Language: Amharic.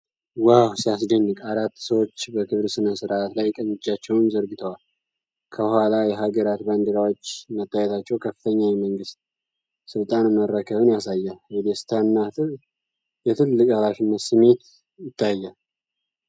ዋው፣ ሲያስደንቅ! አራት ሰዎች በክብር ሥነ ሥርዓት ላይ ቀኝ እጃቸውን ዘርግተዋል። ከኋላ የሀገራት ባንዲራዎች መታየታቸው ከፍተኛ የመንግሥት ሥልጣን መረከብን ያሳያል። የደስታና የትልቅ ኃላፊነት ስሜት ይታያል።